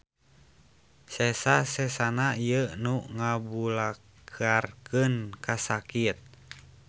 Sesa-sesana ieu nu ngabalukarkeun kasakit.